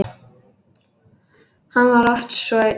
Hann var oft svo einn.